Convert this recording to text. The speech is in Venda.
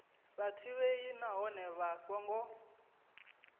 sa ḓivhei nahone vha songo